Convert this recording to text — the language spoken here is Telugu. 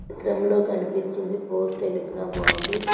చిత్రంలో కనిపిస్తుంది పోస్ట్ టెలిగ్రామ్ ఆఫీస్ .